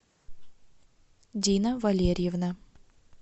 дина валерьевна